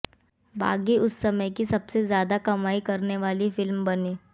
बागी उस समय की सबसे ज्यादा कमाई करने वाली फिल्म बनी